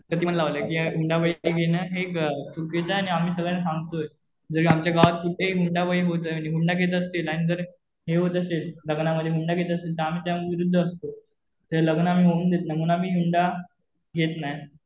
प्रतिबंध लावलं कि हुंडाबळी घेणं हे चुकीचं आणि आम्ही सगळ्यांना सांगतोय. जर का आमच्या गावात कुठंही हुंडाबळी होतंय, हुंडा घेत असतील आणि जर हे होत असेल लग्नामध्ये हुंडा घेत असेल तर आम्ही त्या विरुद्ध असतो. ते लग्न आम्ही होऊ देत नाही. म्हणून आम्ही हुंडा घेत नाही